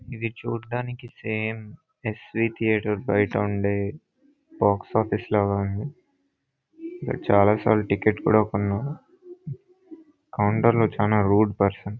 ఇది చుడానికి సమె ఎస్వీ థియేటర్ బయట ఉండే బాక్స్ ఆఫీస్ ల ఉంది ఇక్కడ చాల సార్లు టికెట్ కూడా కొనను. కౌంటర్ లో చాలా రూట్ పర్సన్ .